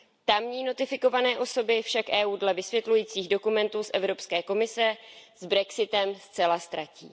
Tamní notifikované osoby však EU dle vysvětlujících dokumentů z Evropské komise s brexitem zcela ztratí.